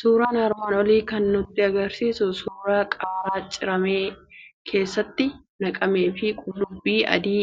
Suuraan armaan olii kan nutti argisiisu, suuraa qaaraa ciramee keeshaatti naqamee fi qullubbii adoi